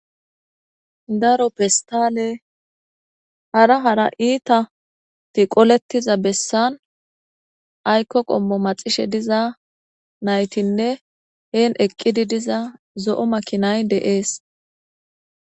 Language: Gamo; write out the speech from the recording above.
Daro pestalle hara hara iittatti qooletoza bessan aykko qoommo maaxishe dizanayttinne heeni eqqidii diza zo'o maakinay de'es.